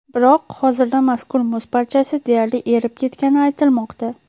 Biroq hozirda mazkur muz parchasi deyarli erib ketgani aytilmoqda.